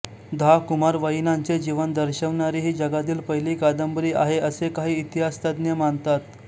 दहा कुमारवयीनांचे जीवन दर्शवणारी ही जगातली पहिली कादंबरी आहे असे काही इतिहास तज्ज्ञ मानतात